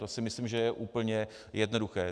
To si myslím, že je úplně jednoduché.